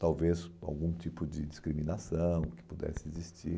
Talvez algum tipo de discriminação que pudesse existir.